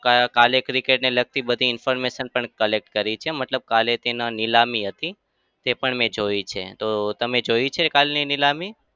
કા કાલે cricket ને લગતી information પણ collect કરી છે મતલબ કાલે તેને નીલામી હતી તે પણ મેં જોઈ છે. તો તમે જોઈ છે કાલની નીલામી?